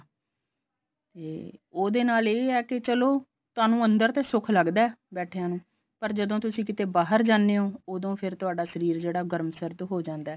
ਤੇ ਉਹਦੇ ਨਾਲ ਇਹ ਹੈ ਕਿ ਚਲੋ ਤੁਹਾਨੂੰ ਅੰਦਰ ਤੇ ਸੁੱਖ ਲੱਗਦਾ ਬੈਠਿਆ ਨੂੰ ਪਰ ਜਦੋਂ ਤੁਸੀਂ ਕਿਤੇ ਬਾਹਰ ਜਾਨੇ ਹੋ ਉਹਦੋ ਫਿਰ ਤੁਹਾਡਾ ਸ਼ਰੀਰ ਜਿਹੜਾ ਗਰਮ ਸਰਦ ਹੋ ਜਾਂਦਾ